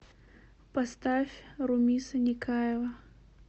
поставь румиса никаева